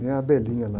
Nem a lá.